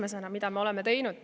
Esiteks, mida me oleme teinud.